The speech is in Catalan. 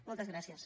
moltes gràcies